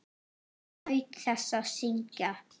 Hún naut þess að syngja.